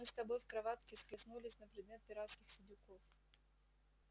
мы с тобой в кроватке схлестнулись на предмет пиратских сидюков